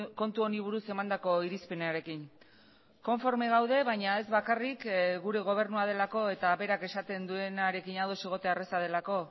kontu honi buruz emandako irizpenarekin konforme gaude baina ez bakarrik gure gobernua delako eta berak esaten duenarekin ados egotea erraza delako